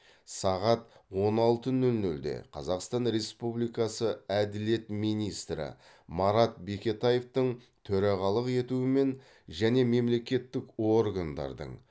сағат он алты нөл нөлде қазақстан республикасы әділет министрі марат бекетаевтың төрағалық етуімен және мемлекеттік органдардың